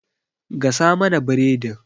Gasa mana biredin!